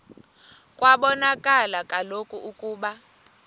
kwabonakala kaloku ukuba